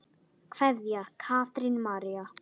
Kveðja, Katrín María.